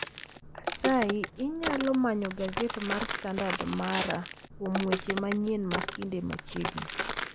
Asayi inyalo manyo gaset mar standard mara kuom weche manyien makinde machiegni